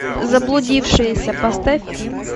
заблудившиеся поставь